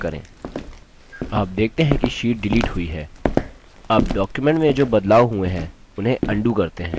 आप देखते है कि sheet डिलीट हुई है अब document में जो बदलाव हुए है उन्हें अन्डू करते हैं